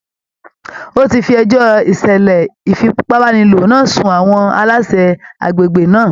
Ó ti fi ẹjọ́ ìṣẹ̀lẹ̀ ìfipàbàniló náà sun àwọn aláṣẹ agbègbè náà.